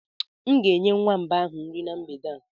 M ga-enye nwamba ahụ nri na mgbede a.